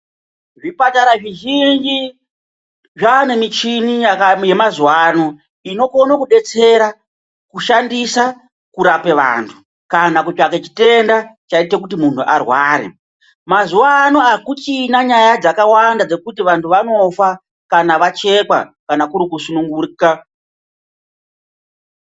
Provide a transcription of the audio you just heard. Zvipatara zvizhinji zvane michini yemazuva anaya inokona kubetsera kuishandisa kurape vantu kana kutsvaga chitenda chaite kuti muntu arware. Mazuva ano akuchina nyaya dzakawanda dzekuti vantu vanofa kana vachekwa pakusununguka.